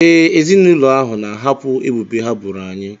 Ee, ezinụlọ ahụ na-ahapụ ebubo ha boro anyị.